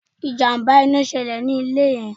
Ìjàmbá ina ṣẹlè ní ilé yẹn